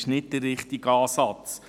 Das ist nicht der richtige Ansatz.